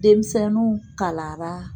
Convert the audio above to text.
Denmisɛnninw kalara